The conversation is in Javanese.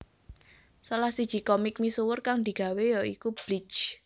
Salah siji komik misuwur kang digawé ya iku Bleach